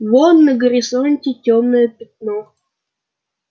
вон на горизонте тёмное пятно